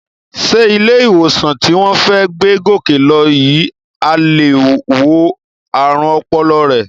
Sé ilé-ìwòsàn tí wọ́n fẹ́ gbé Gòkè lọ yìí á lè wo ààrùn ọpọlọ rẹ?